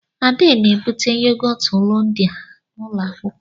Ade na-ebute yogọt Hollandia n'ụlọ akwụkwọ.